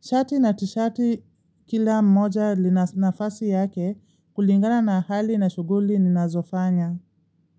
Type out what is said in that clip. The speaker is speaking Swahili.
Shati na tishati kila moja lina nafasi yake kulingana na hali na shughuli ninazofanya.